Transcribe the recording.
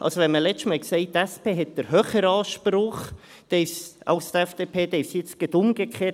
Also, wenn man letztes Mal sagte, die SP habe den höheren Anspruch als die FDP, ist es jetzt gerade umgekehrt.